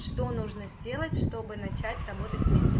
что нужно сделать чтобы начать работать вместе